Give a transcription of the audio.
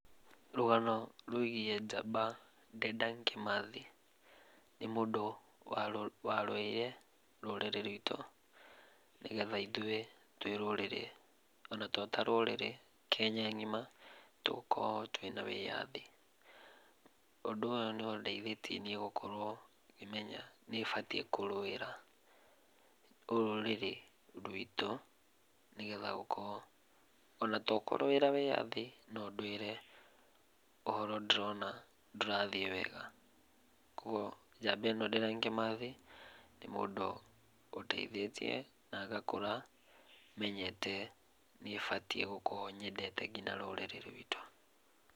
Rũgano rwĩgiĩ njamba Dedan Kĩmathi. Nĩ mũndũ warũĩire rũrĩrĩ rwitũ, nĩgeta ithuĩ twĩ rũrĩrĩ, ona to ta rũrĩrĩ, Kenya ng'ima tũkorwo twĩna wĩyathi. Ũndũ ũyũ nĩũndeithĩtie niĩ gũkorwo ngĩmenya nĩbatiĩ kũrũĩra rũrĩrĩ rwitũ nĩgetha gũkorwo, ona to kũrũĩra wĩyathi, no ndũĩre ũhoro ndĩrona ndũrathiĩ wega. Kuoguo njamba ĩno Dedan Kĩmathi, nĩ mũndũ ũteithĩtie na ngakũra mwenyete nĩbatiĩ gũkorwo nyendete kinya rũrĩrĩ rwitũ.